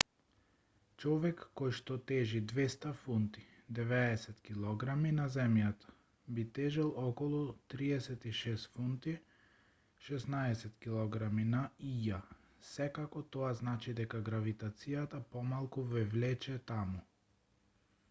човек којшто тежи 200 фунти 90 килограми на земјата би тежел околу 36 фунти 16 килограми на ија. секако тоа значи дека гравитацијата помалку ве влече таму